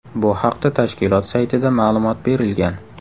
Bu haqda tashkilot saytida ma’lumot berilgan .